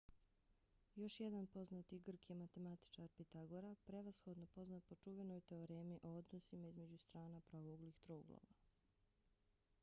još jedan poznati grk je matematičar pitagora prevashodno poznat po čuvenoj teoremi o odnosima između strana pravouglih trouglova